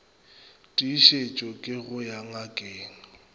tiišetše ke go ya ngakeng